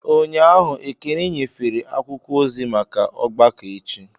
Ụnyahụ, Ekene nyefere akwụkwọ ozi maka ọgbakọ echi.